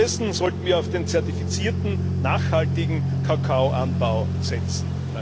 Stattdessen sollten wir auf den zertifizierten, nachhaltigen Kakaoanbau setzen.